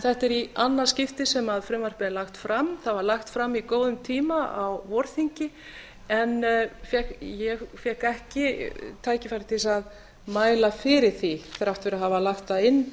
þetta er í annað skipti sem frumvarpið er lagt fram það var lagt fram í góðum tíma á vorþingi en ég fékk ekki tækifæri til að mæla fyrir því þrátt fyrir að hafa lagt það inn